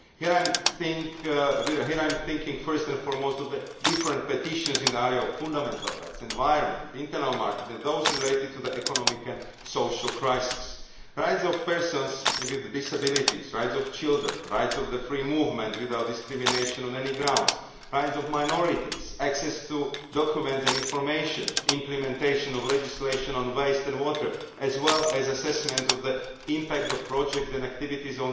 Here, I am thinking first and foremost of the different petitions in the areas of fundamental rights, environment, internal market and those related to the economic and social crisis rights of persons with disabilities, rights of children, rights of free movement without discrimination on any grounds, rights of minorities, access to documents and information, implementation of legislation on waste and water, as well as assessment of the impact of projects and activities